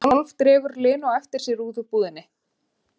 Hún hálfdregur Lenu á eftir sér út úr búðinni.